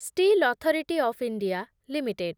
steel authority of India limited